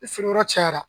Ni feereyɔrɔ cayara